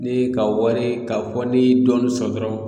N'i ye ka wari k'a fɔ n'i ye dɔɔnin sɔrɔ dɔrɔn